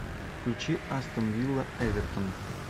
включи астон вилла эвертон